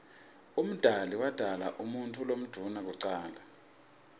umdali wodala umuutfu lomdouna kucala